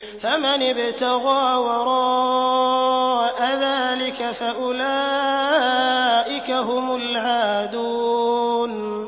فَمَنِ ابْتَغَىٰ وَرَاءَ ذَٰلِكَ فَأُولَٰئِكَ هُمُ الْعَادُونَ